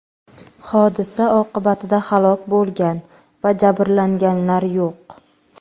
Hodisa oqibatida halok bo‘lgan va jabrlanganlar yo‘q.